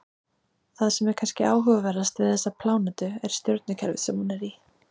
Það sem er kannski áhugaverðast við þessa plánetu er stjörnukerfið sem hún er í.